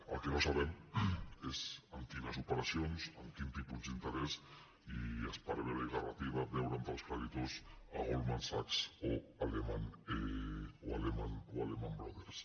el que no sabem és amb quines operacions amb quin tipus d’interès i esparvera i garratiba veure entre els creditors goldman sachs o lehman brothers